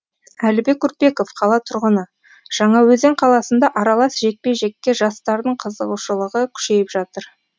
әлібек үрпеков қала тұрғыны жаңаөзен қаласында аралас жекпе жекке жастардың қызығушылығы күшейіп жатыр